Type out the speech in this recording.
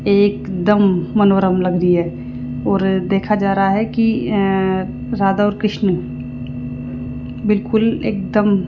एकदम मनोरम लग रही है और देखा जा रहा है कि अ राधा और कृष्णा बिल्कुल एकदम --